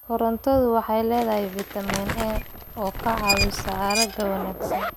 Karootadu waxay leedahay fiitamiin A oo ka caawiya aragga wanaagsan.